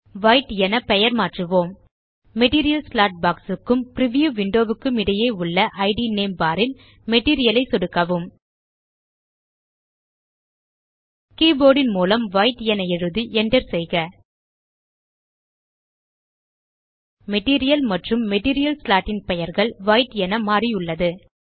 white என பெயர்மாற்றுவோம் material slot box க்கும் பிரிவ்யூ விண்டோ க்கும் இடையே உள்ள இட் நேம் பார் ல் மெட்டீரியல் ஐ சொடுக்கவும் கீபோர்ட் ன் மூலம் வைட் என எழுதி enter செய்க மெட்டீரியல் மற்றும் மெட்டீரியல் ஸ்லாட் ன் பெயர்கள் வைட் என மாறியுள்ளது